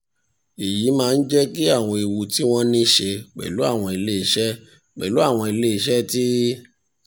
èyí máa ń jẹ́ kí àwọn ewu tí wọ́n ní í ṣe pẹ̀lú àwọn iléeṣẹ́ pẹ̀lú àwọn iléeṣẹ́ tí